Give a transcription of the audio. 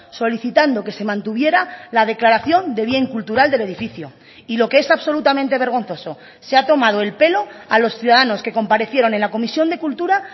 solicitando que se mantuviera la declaración de bien cultural del edificio y lo que es absolutamente vergonzoso se ha tomado el pelo a los ciudadanos que comparecieron en la comisión de cultura